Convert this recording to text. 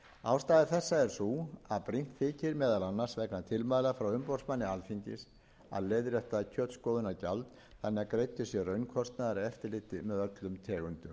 ástæða þessa er sú að brýnt þykir meðal annars vegna tilmæla frá umboðsmanni alþingis að leiðrétta kjötskoðunargjald þannig að greiddur sé raunkostnaður af eftirliti með öllum tegundum búfjár skýrt er kveðið